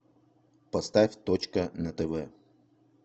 поставь точка на тв